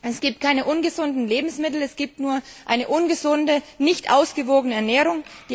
Es gibt keine ungesunden Lebensmittel, es gibt nur eine ungesunde, nicht ausgewogene Ernährung.